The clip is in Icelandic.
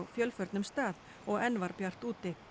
fjölförnum stað og enn var bjart úti